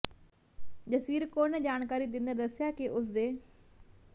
ਜਸਵੀਰ ਕੌਰ ਨੇ ਜਾਣਕਾਰੀ ਦਿੰਦਿਆਂ ਦੱਸਿਆ ਕਿ ਉਸ ਦੇ